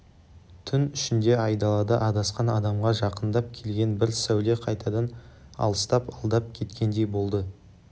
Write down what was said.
түн ішінде айдалада адасқан адамға жақындап келген бір сәуле қайтадан алыстап алдап кеткендей болды